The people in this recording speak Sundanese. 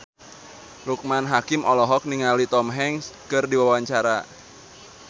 Loekman Hakim olohok ningali Tom Hanks keur diwawancara